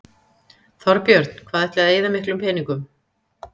Þorbjörn: Hvað ætliði að eyða miklum peningum?